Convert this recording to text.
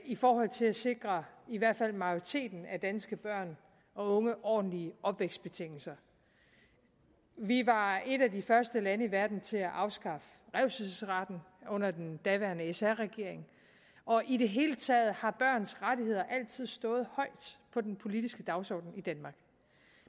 i forhold til at sikre i hvert fald majoriteten af danske børn og unge ordentlige opvækstbetingelser vi var et af de første lande i verden til at afskaffe revselsesretten under den daværende sr regering og i det hele taget har børns rettigheder altid stået højt på den politiske dagsorden i danmark